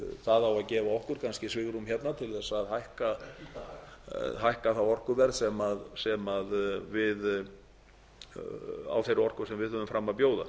það á að gefa okkur kannski svigrúm hérna til að hækka það orkuverð á þeirri orku sem við höfum fram að bjóða